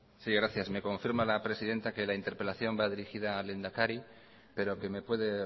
gracias me confirma la presidenta que la interpelación va dirigida al lehendakari pero que me puede